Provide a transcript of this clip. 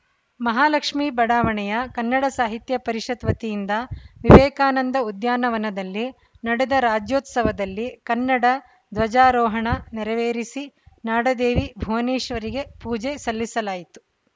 ಮಹಾಲಕ್ಷ್ಮಿ ಬಡಾವಣೆಯ ಕನ್ನಡ ಸಾಹಿತ್ಯ ಪರಿಷತ್‌ವತಿಯಿಂದ ವಿವೇಕಾನಂದ ಉದ್ಯಾನವನದಲ್ಲಿ ನಡೆದ ರಾಜ್ಯೋತ್ಸವದಲ್ಲಿ ಕನ್ನಡ ಧ್ವಜಾರೋಹಣ ನೆರವೇರಿಸಿ ನಾಡದೇವಿ ಭುವನೇಶ್ವರಿಗೆ ಪೂಜೆ ಸಲ್ಲಿಸಲಾಯಿತು